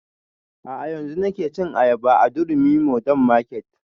A'a yanzun nake cin ayaba a durumi modern market